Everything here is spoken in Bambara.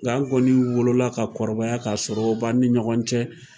Nka an kɔni wolola ka kɔrɔbaya ka sɔrɔ o b'an ni ɲɔgɔn cɛ.